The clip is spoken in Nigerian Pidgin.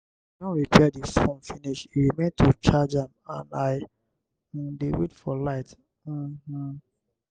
i don repair the phone finish e remain to charge am and i um dey wait for light. um um